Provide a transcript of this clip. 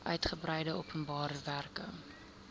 uigebreide openbare werke